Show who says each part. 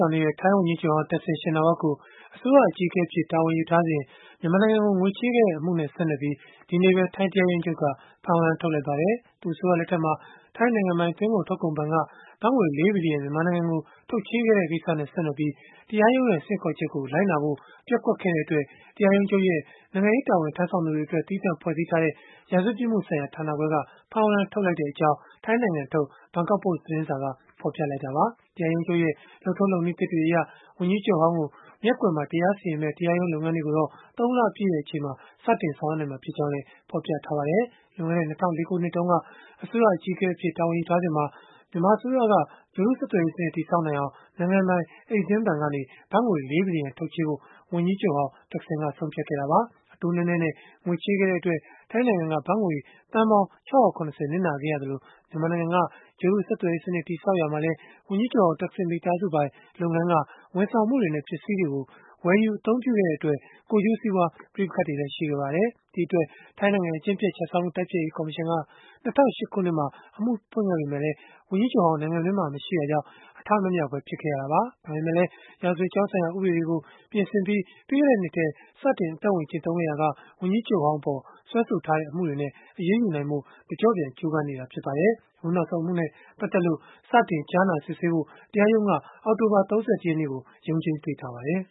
Speaker 1: ောင်နေတဲ့ ထိုင်းဝန်ကြီးချုပ်ဟောင်း Thaksin Shinawatra ကို အစိုးရအကြီးအကဲအဖြစ် တာဝန်ယူထားစဉ် မြန်မာနိုင်ငံကို ငွေချေးခဲ့တဲ့အမှုနဲ့ ဆက်နွယ်ပြီး ဒီကနေ့ပဲ ထိုင်းတရားရုံးချုပ်က ဖမ်းဝရမ်း ထုတ်လိုက်ပါတယ်။ သူ့အစိုးရလက်ထက်မှာ ထိုင်းနိုင်ငံပိုင် သွင်းကုန်ထုတ်ကုန်ဘဏ်က ဘတ်ငွေ ၄ ဘီလီယံ မြန်မာနိုင်ငံကို ထုတ်ချေးခဲ့တဲ့ ကိစ္စနဲ့ ဆက်နွယ်ပြီး၊ တရားရုံးရဲ့ ဆင့်ခေါ်ချက်ကို လိုက်နာဖို့ ပျက်ကွက်ခဲ့တဲ့အတွက် တရားရုံးချုပ်ရဲ့ နိုင်ငံရေးတာဝန် ထမ်းဆောင်သူတွေအတွက် သီးသန့်ဖွဲ့ထားတဲ့ ရာဇဝတ်ပြစ်မှုဆိုင်ရာဌာနခွဲက ဖမ်းဝရမ်း ထုတ်လိုက်ကြောင်း ထိုင်းနိုင်ငံထုတ် Bangkok Post သတင်းစာက ဖော်ပြခဲ့တာပါ။ တရားရုံးချုပ်ရဲ့ လုပ်ထုံးလုပ်နည်းသစ်တွေအရ ဝန်ကြီးချုပ်ဟောင်းကို မျက်ကွယ်မှာ တရားစီရင်မယ့် တရားရုံး လုပ်ငန်းတွေကိုတော့ ၃ လပြည့်မှာ စတင်ဆောင်ရွက်နိုင်မှာ ဖြစ်ကြောင်းလည်း ဖော်ပြထားပါတယ်။ လွန်ခဲ့တဲ့ ၂၀၀၄ ခုနှစ်တုန်းက အစိုးရအကြီးအကဲ တာဝန်ယူထားစဉ်မှာ မြန်မာအစိုးရက ဂြိုဟ်တုဆက်သွယ်ရေးစနစ် တည်ဆောက်နိုင်အောင် နိုင်ငံပိုင် Exim ဘဏ်ကနေ ဘတ်ငွေ ၄ ဘီလီယံ ထုတ်ချေးဖို့ ဝန်ကြီးချုပ်ဟောင်း Thaksin က ဆုံးဖြတ်ခဲ့တာပါ။ အတိုးနည်းနည်းနဲ့ ငွေချေးခဲ့တဲ့အတွက် ထိုင်းနိုင်ငံက ဘတ်ငွေသန်းပေါင်း ၆၇၀ နစ်နာခဲ့ရသလို၊ မြန်မာနိုင်ငံက ဂြိုဟ်တုဆက်သွယ်ရေးစနစ် တည်ဆောက်ရာမှာလည်း ဝန်ကြီးချုပ်ဟောင်း Thaksin မိသားစုပိုင် လုပ်ငန်းက ဝန်ဆောင်မှုတွေနဲ့ ပစ္စည်းတွေကို ဝယ်ယူအသုံးပြုခဲ့တဲ့ အတွက် ကိုယ်ကျိုးစီးပွား ပဋိပက္ခတွေလည်း ရှိခဲ့ပါတယ်။ ဒီအတွက် ထိုင်းနိုင်ငံ အကျင့်ပျက်ခြစားမှု တိုက်ဖျက်ရေး ကော်မရှင်က ၂၀၀၈ ခုနှစ်မှာ စတင်အမှုဖွင့်ခဲ့ပေမဲ့၊ ဝန်ကြီးချုပ်ဟောင်း နိုင်ငံတွင်းမှာ မရှိတာကြောင့် အထမမြောက်ဘဲ ဖြစ်ခဲ့ရတာပါ။ ဒါပေမဲ့လည်း ရာဇဝတ်ကြောင်းဆိုင်ရာ ဥပဒေတွေကို ပြင်ဆင်ပြီး၊ ပြီးခဲ့တဲ့နှစ်ထဲ စတင်အသက်ဝင်ခဲ့ရာက ဝန်ကြီးချုပ်ဟောင်းအပေါ် စွဲဆိုထားတဲ့အမှုတွေနဲ့ အရေးယူနိုင်ဖို့ တကျော့န် ကြိုးပမ်းနေတာ ဖြစ်ပါတယ်။ အခုနောက်ဆုံးအမှုနဲ့ ပတ်သက်လို့ စတင်ကြားနာစစ်ဆေးဖို့ တရားရုံးက အောက်တိုဘာ ၃၁ ရက်နေ့မှာ ရုံးချိန်းပေးထားပါတယ်